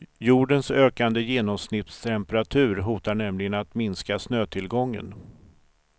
Jordens ökande genomsnittstemperatur hotar nämligen att minska snötillgången.